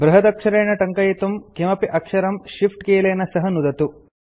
बृहदक्षरेण टङ्कयितुं किमपि अक्षरं Shift कीलेन सह नुदतु